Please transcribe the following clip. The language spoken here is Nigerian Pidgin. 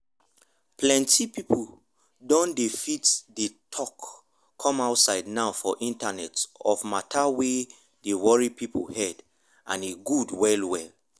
plenty people don dey fit dey talk come outside now for internet of matter wey dey worry people head and e good well well